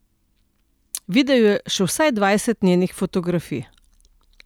Videl je še vsaj dvajset njenih fotografij.